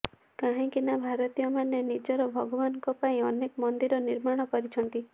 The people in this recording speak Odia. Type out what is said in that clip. କାହିଁକି ନା ଭାରତୀୟମାନେ ନିଜର ଭଗବାନଙ୍କ ପାଇଁ ଅନେକ ମନ୍ଦିର ନିର୍ମାଣ କରିଛନ୍ତି